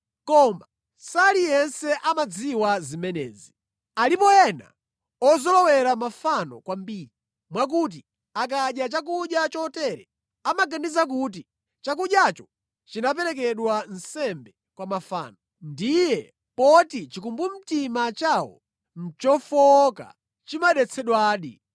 Koma saliyense amadziwa zimenezi. Alipo ena ozolowera mafano kwambiri mwakuti akadya chakudya chotere amaganiza kuti chakudyacho chinaperekedwa nsembe kwa mafano. Ndiye poti chikumbumtima chawo nʼchofowoka chimadetsedwadi.